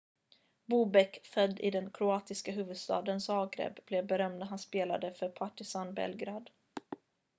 bobek född i den kroatiska huvudstaden zagreb blev berömd när han spelade för partizan belgrad